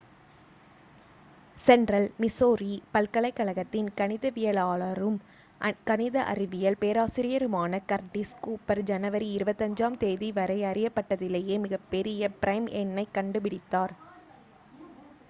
central Missouri பல்கலைக்கழகத்தின் கணிதவியலாளரும் கணித அறிவியல் பேராசிரியருமான கர்டிஸ் கூப்பர் ஜனவரி 25-ஆம் தேதிவரை அறியப்பட்டதிலேயே மிகப்பெரிய ப்ரைம் எண்ணைக் கண்டுபிடித்தார்